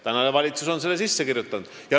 Tänane valitsus on selle sinna sisse kirjutanud.